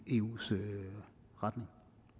eus retning